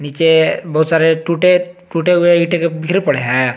जे बहुत सारे टूटे टूटे हुए ईंटे के बिखरे पड़े हैं।